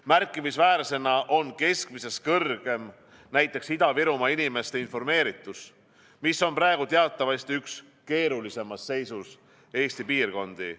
Märkimisväärsena on keskmisest kõrgem näiteks Ida-Virumaa inimeste informeeritus, mis on praegu teatavasti üks keerulisemas seisus Eesti piirkondi.